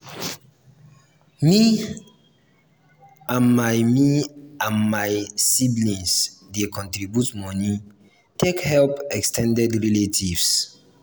me and my me and my siblings dey contribute moni take help ex ten ded relatives.